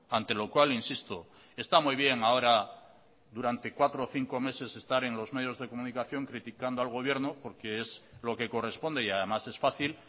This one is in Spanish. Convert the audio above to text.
ante lo cual insisto está muy bien ahora durante cuatro o cinco meses estar en los medios de comunicación criticando al gobierno porque es lo que corresponde y además es fácil